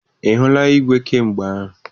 Ị hụla igwe kamgbe ahụ?